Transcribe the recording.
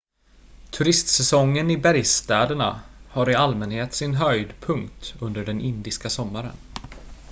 turistsäsongen i bergsstäderna har i allmänhet sin höjdpunkt under den indiska sommaren